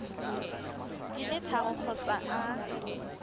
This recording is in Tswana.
di le tharo kgotsa a